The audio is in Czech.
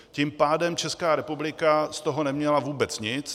Tím pádem Česká republika z toho neměla vůbec nic.